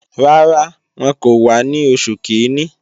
Rárá, wọn kò wá ní oṣù kìíní